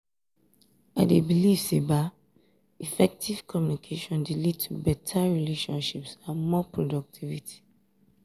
i dey believe say effective communication dey lead to beta relationships and more productivity.